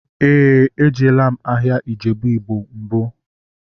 Éè, ejela m ahịa Ijebu igbo mbụ